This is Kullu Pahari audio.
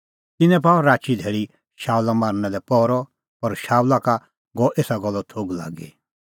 तिन्नैं पाअ राची धैल़ी शाऊला मारना लै पहरअ पर शाऊला का गअ एसा गल्लो थोघ लागी